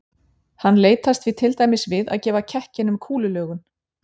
hann leitast því til dæmis við að gefa kekkinum kúlulögun